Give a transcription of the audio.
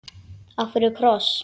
Af hverju kross?